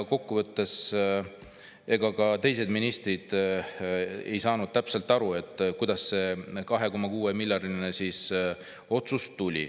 Kokkuvõttes ka teised ministrid ei saanud täpselt aru, kuidas see 2,6 miljardi otsus siis tuli.